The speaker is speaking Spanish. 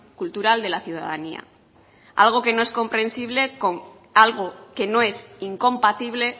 cultural de la ciudadanía algo que no es incompatible